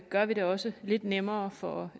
gør vi det også lidt nemmere for